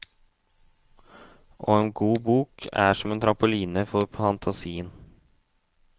Og en god bok er som en trampoline for fantasien.